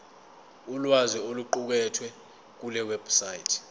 ulwazi oluqukethwe kulewebsite